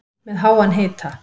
Með háan hita